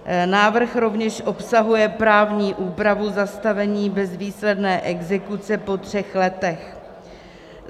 Návrh rovněž obsahuje právní úpravu zastavení bezvýsledné exekuce po třech letech.